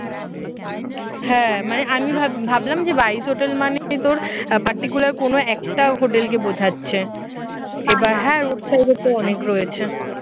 হ্যাঁ মানে আমি ভাব ভাবলাম যে spice hotel মানে তোর particular কোন একটা hotel কে বোঝাচ্ছে। এবার road side এ তো অনেক রয়েছে